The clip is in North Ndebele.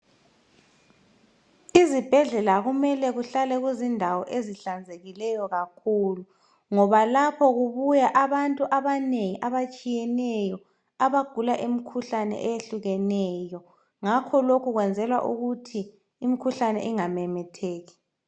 Izibhedlela kumele kuhlale kuzindawo ezihlanzekileyo kakhulu ngoba lapho kubuya abanatu abanengi abatshiyeneyo abagula imikhuhlane eyehlukeneyo ngakho lokho kwenzelwa ukuthi imikhuhlane ingamemetheki.